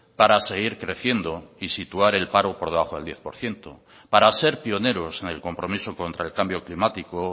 para seguir creciendo y situar el paro por debajo del diez por ciento para ser pioneros en el compromiso contra el cambio climático